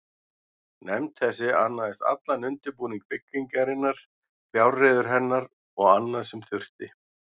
Nefnd þessi annaðist allan undirbúning byggingarinnar, fjárreiður hennar og annað, sem þurfti.